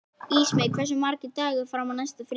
Ísmey, hversu margir dagar fram að næsta fríi?